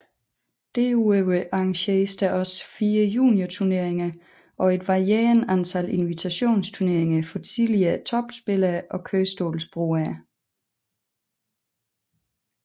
Derudover arrangeres der også fire juniorturneringer og et varierende antal invitationsturneringer for tidligere topspillere og kørestolsbrugere